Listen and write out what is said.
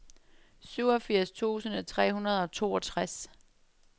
syvogfirs tusind tre hundrede og toogtres